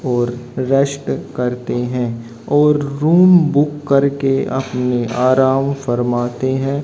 और रेस्ट करते हैं और रूम बुक करके अपने आराम फरमाते हैं।